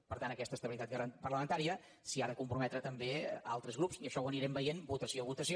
per tant a aquesta estabilitat parlamentària s’hi han de comprometre també altres grups i això ho anirem veient votació a votació